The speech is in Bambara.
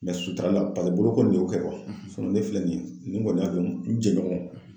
sutarali la pase boloko in ne y'o kɛ ne filɛ nin ye ne kɔni y'a dɔn n jɛɲɔgɔn